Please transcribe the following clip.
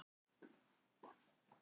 Ekki tjáir að binda um banasárið.